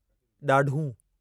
ॾाढ़ूं